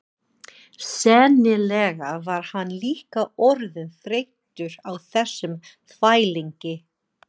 Sennilega var hann líka orðinn þreyttur á þessum þvælingi.